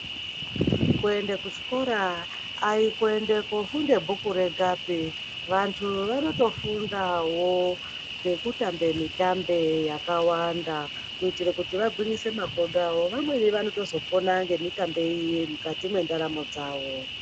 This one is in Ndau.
Kuende kuchikora aikuende kofunde bhuku rwgapi vantu vanotofundawo ngekutambe mitambe yakawanda kuitire kuti vagwinyise makodoawo vamweni vanotozopona ngemitambe iyi mukati mwendaramo dzawo.